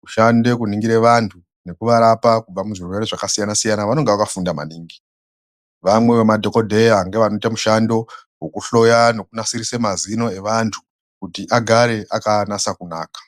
kushande kuningire vantu nokuvarapa kubva muzvirwere zvakasiyana siyana vanenge vakafunda maningi vamwe vemadhokodheya ngevanoite mushando wekuhloya nekunasirise mazino evantu kuti agare akanasa kunaka.